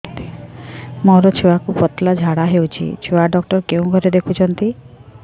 ମୋର ଛୁଆକୁ ପତଳା ଝାଡ଼ା ହେଉଛି ଛୁଆ ଡକ୍ଟର କେଉଁ ଘରେ ଦେଖୁଛନ୍ତି